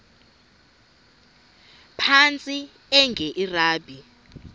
phantsi enge lrabi